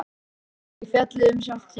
Er það ekki fallið um sjálft sig?